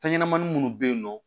Fɛn ɲɛnɛmanin munnu be yen nɔ